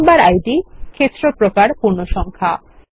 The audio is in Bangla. মেম্বার ইদ ক্ষেত্র প্রকার পূর্ণসংখ্যা